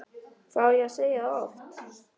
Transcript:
Hvað á ég að segja það oft?!